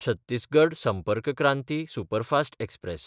Chhattisgarh Sampark Kranti superfast express